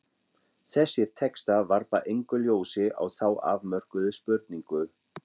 Þessir textar varpa engu ljósi á þá afmörkuðu spurningu.